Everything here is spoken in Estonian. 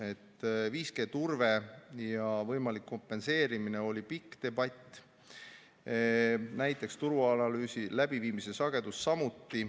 5G turbe ja võimaliku kompenseerimise kohta oli pikk debatt, turuanalüüsi läbiviimise sageduse kohta samuti.